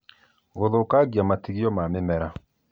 Gũthũkagia matigio ma mĩmera